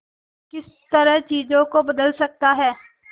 किस तरह चीजों को बदल सकता है